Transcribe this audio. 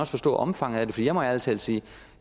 forstå omfanget af det for jeg må ærlig talt sige at